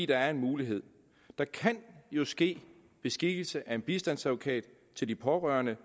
der er en mulighed der kan jo ske beskikkelse af en bistandsadvokat til de pårørende